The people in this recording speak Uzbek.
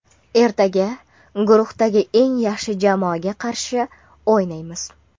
Ertaga guruhdagi eng yaxshi jamoaga qarshi o‘ynaymiz.